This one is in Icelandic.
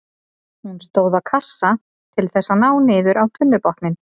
Hún stóð á kassa til þess að ná niður á tunnubotninn.